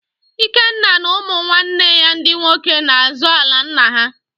Ikenna na ụmụnwanne ya ndị nwoke na-azọ ala nna ha